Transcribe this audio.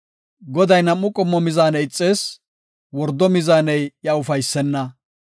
Goday nam7u qommo mizaane ixees; wordo mizaaney iya ufaysenna.